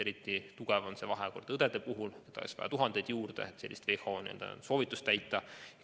Eriti ilmne on see õdede puhul, neid oleks vaja tuhandeid juurde, et WHO soovitust täita.